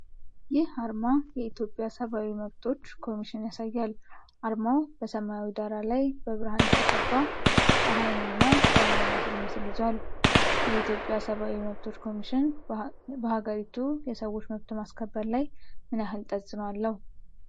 ይህ አርማ የኢትዮጵያ ሰብአዊ መብቶች ኮሚሽን ያሳያል። አርማው በሰማያዊ ዳራ ላይ በብርሃን የተቀባ ፀሐይንና ሰውን የሚመስል ምስል ይዟል። የኢትዮጵያ ሰብአዊ መብቶች ኮሚሽን በሀገሪቱ የሰዎች መብት ማስከበር ላይ ምን ያህል ተጽእኖ አለው?